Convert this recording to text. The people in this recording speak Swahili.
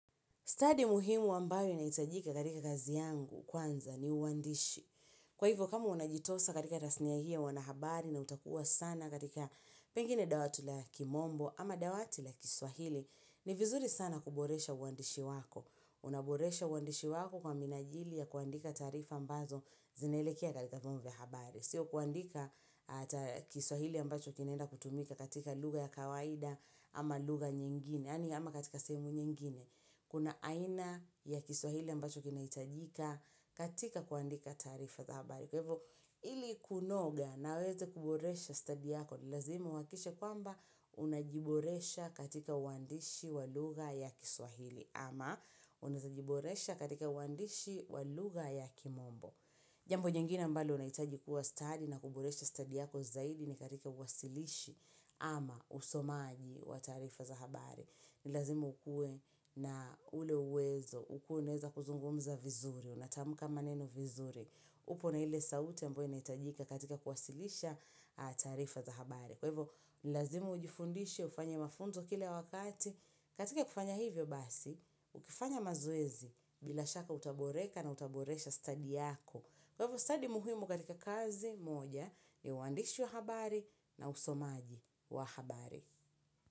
Stadi muhimu ambayo inahitajika katika kazi yangu kwanza ni uandishi. Kwa hivyo kama unajitosa katika tasnia hio ya wanahabari na utakuwa sana katika pengine dawati la kimombo ama dawati la kiswahili ni vizuri sana kuboresha uandishi wako. Unaboresha uandishi wako kwa minajili ya kuandika tarifa ambazo zinaelekea katika vyombo vya habari. Sio kuandika kiswahili ambacho kinaenda kutumika katika lugha ya kawaida ama lugha nyingine. Yani ama katika sehemu nyingine. Kuna aina ya kiswahili ambacho kinahitajika katika kuandika taarifa za habari. Kwa hivo ili kunoga na uweze kuboresha study yako ni lazima uhakikishe kwamba unajiboresha katika uandishi wa lugha ya kiswahili. Ama unajiboresha katika uandishi waluga ya kimombo. Jambo lingine mbalo unaitaji kuwa stadi na kuboresha study yako zaidi ni katika uwasilishi ama usomaji wa taarifa za habari. Ni lazimu ukuwe na ule uwezo. Ukuwe unaweza kuzungumza vizuri, unatamka maneno vizuri. Upo na ile sauti ambayo inahitajika katika kuwasilisha tarifa za habari. Kwa hivo, ni lazima ujifundishe ufanye mafunzo kila wakati katika kufanya hivyo basi, ukifanya mazoezi bila shaka utaboreka na utaboresha stadi yako. Kwa hivo, stadi muhimu katika kazi moja ni uandishi wa habari na usomaji wa habari.